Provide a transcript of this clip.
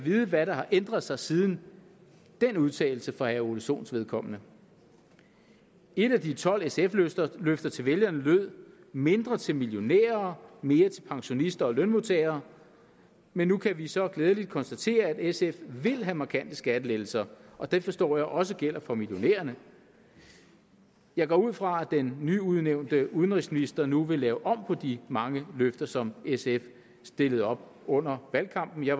vide hvad der har ændret sig siden den udtalelse for herre ole sohns vedkommende et af de tolv sf løfter løfter til vælgerne lød mindre til millionærer og mere til pensionister og lønmodtagere men nu kan vi så glædeligt konstatere at sf vil have markante skattelettelser og det forstår jeg også gælder for millionærerne jeg går ud fra at den nyudnævnte udenrigsminister nu vil lave om på de mange løfter som sf stillede op under valgkampen jeg